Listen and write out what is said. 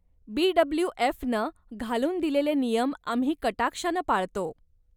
बीडब्ल्यूएफनं घालून दिलेले नियम आम्ही कटाक्षानं पाळतो.